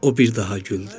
O bir daha güldü.